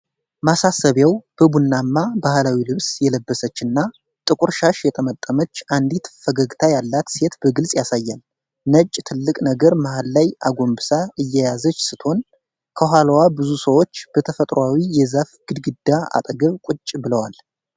ማሳሰቢያው በቡናማ ባህላዊ ልብስ የለበሰችና ጥቁር ሻሽ የጠመጠመች አንዲት ፈገግታ ያላት ሴት በግልጽ ያሳያል። ነጭ ትልቅ ነገር መሃል ላይ አጎንብሳ እየያዘች ስትሆን፣ ከኋላዋ ብዙ ሰዎች በተፈጥሮአዊ የዛፍ ግድግዳ አጠገብ ቁጭ ብለዋል።